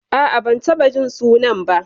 A'a, ban taɓa jin sunan ba.